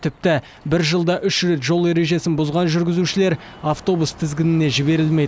тіпті бір жылда үш рет жол ережесін бұзған жүргізушілер автобус тізгініне жіберілмейді